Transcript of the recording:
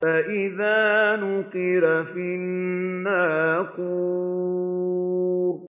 فَإِذَا نُقِرَ فِي النَّاقُورِ